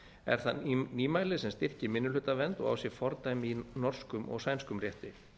er það nýmæli sem styrkir minnihlutavernd og á sér fordæmi í norskum og sænskum rétti